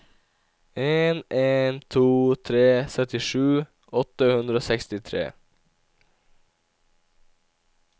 en en to tre syttisju åtte hundre og sekstitre